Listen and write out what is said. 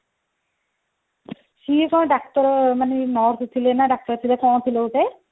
ସିଏ କଣ ଡାକ୍ତର ମାନେ nurse ଥିଲେ ନା ଡାକ୍ତର ଥିଲେ କଣ ଥିଲେ ଗୋଟେ